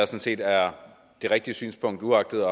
set er det rigtige synspunkt uagtet